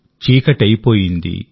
చీకటై పోయింది